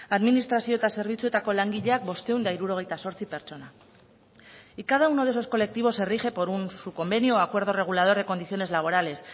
administrazio eta zerbitzuetako langileak bostehun eta hirurogeita zortzi pertsona y cada uno de esos colectivos se rige por un sub convenio o acuerdo regulador de condiciones laborales